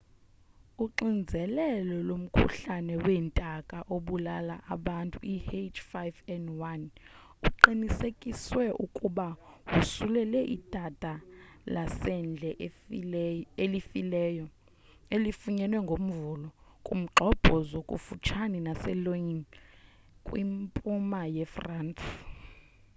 uxinzelelo lomkhuhlane weentaka obulala abantu i-h5n1 uqinisekisiwe ukuba wosulele idada lasendle elifileyo elifunyenwe ngomvulo kumgxobhozo kufutshane naselyon kwimpuma yefrance